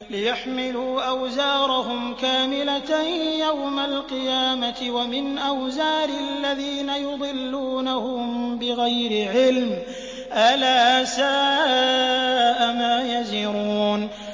لِيَحْمِلُوا أَوْزَارَهُمْ كَامِلَةً يَوْمَ الْقِيَامَةِ ۙ وَمِنْ أَوْزَارِ الَّذِينَ يُضِلُّونَهُم بِغَيْرِ عِلْمٍ ۗ أَلَا سَاءَ مَا يَزِرُونَ